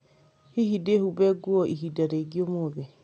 Hihi dĩhumbe nguo ihinda rĩngĩ ũmũthĩ